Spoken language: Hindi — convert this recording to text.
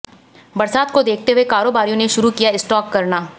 बरसात को देखते हुए कारोबारियों ने शुरू किया स्टॉक करना